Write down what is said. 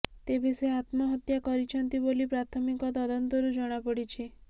ତେବେ ସେ ଆତ୍ମହତ୍ୟା କରିଛନ୍ତି ବୋଲି ପ୍ରାଥମିକ ତଦନ୍ତରୁ ଜଣାପଡ଼ିଛି